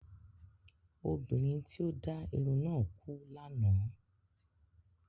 Obìnrin tí ó dá irun náà kú lánàá